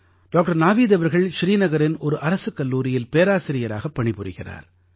doctor Naveed அவர்கள் ஸ்ரீநகரின் ஒரு அரசுக் கல்லூரியில் பேராசிரியராகப் பணி புரிகிறார்